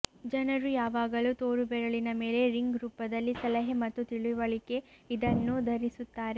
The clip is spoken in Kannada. ಜನರು ಯಾವಾಗಲೂ ತೋರುಬೆರಳಿನ ಮೇಲೆ ರಿಂಗ್ ರೂಪದಲ್ಲಿ ಸಲಹೆ ಮತ್ತು ತಿಳಿವಳಿಕೆ ಇದನ್ನು ಧರಿಸುತ್ತಾರೆ